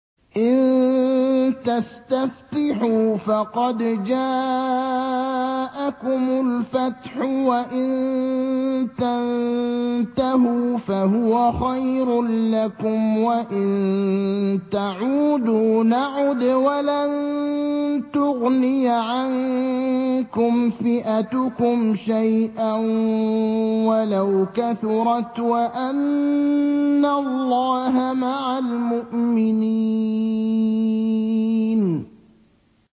إِن تَسْتَفْتِحُوا فَقَدْ جَاءَكُمُ الْفَتْحُ ۖ وَإِن تَنتَهُوا فَهُوَ خَيْرٌ لَّكُمْ ۖ وَإِن تَعُودُوا نَعُدْ وَلَن تُغْنِيَ عَنكُمْ فِئَتُكُمْ شَيْئًا وَلَوْ كَثُرَتْ وَأَنَّ اللَّهَ مَعَ الْمُؤْمِنِينَ